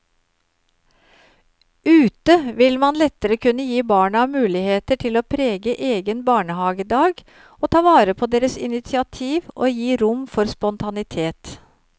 Ute vil man lettere kunne gi barna muligheter til å prege egen barnehagedag og ta vare på deres initiativ og gi rom for spontanitet.